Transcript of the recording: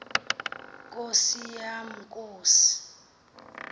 nkosi yam nkosi